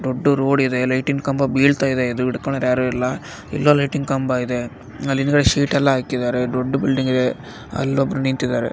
ದೊಡ್ಡ್ ರೋಡ್ ಇದೆ ಲೈಟಿನ್ ಕಂಬ ಬೀಳ್ತಾ ಇದೆ ಇದನ್ನ ಹಿಡ್ಕೊಳ್ಳೋರು ಯಾರು ಇಲ್ಲ ಎಲ್ಲಾ ಲೈಟಿನ್ ಕಂಬ ಇದೆ ಅಲ್ಲಿ ಅಂದ್ರೆ ಶೀಟ್ ಎಲ್ಲ ಹಾಕಿದ್ದಾರೆ ದೊಡ್ಡ್ ಬಿಲ್ಡಿಂಗ್ ಇದೆ ಅಲ್ಲಿ ಒಬ್ರು ನಿಂತಿದ್ದಾರೆ.